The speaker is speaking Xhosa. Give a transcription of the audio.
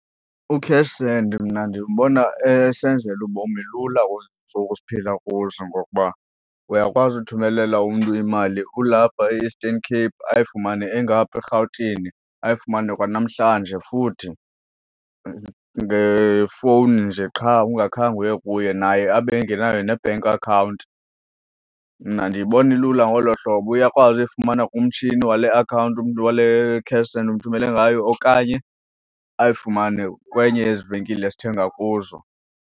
U-cash send mna ndimbona esenzela ubomi lula kwezi ntsuku siphila kuzo ngokuba uyakwazi uthumelela umntu imali ulapha e-Eastern Cape ayifumane engaphaa eRhawutini, ayifumane kwanamhlanje futhi ngefowuni nje qha ungakhange uye kuye naye abe engenayo ne-bank account. Mna ndiyibona ilula ngolo hlobo, uyakwazi uyifumana kumtshini wale akhawunti umntu wale cash send omthumele ngayo okanye ayifumane kwenye yezi venkile sithenga kuzo.